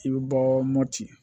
I bɛ bɔ mopti